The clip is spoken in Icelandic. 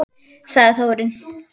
Sagði Þórunn!